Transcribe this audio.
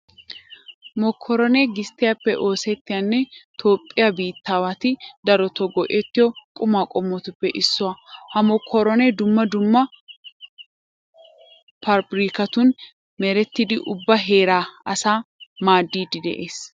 Mokkoronee gisttiyappe oosettiyanne toophphiya biittaawati darotoo go"ettiyo qumaa qommotuppe issuwa. Ha mokkoronee dumma dumma paabirkkatun merettidi ubba heeraa asaa maaddiiddi de'ees.